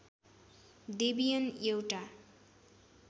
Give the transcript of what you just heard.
Debian एउटा